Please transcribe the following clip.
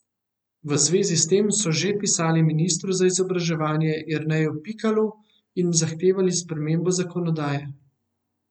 V zvezi s tem so že pisali ministru za izobraževanje Jerneju Pikalu in zahtevali spremembo zakonodaje.